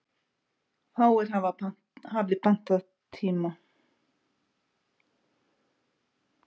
Fáir hafi pantað tíma.